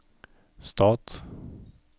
stat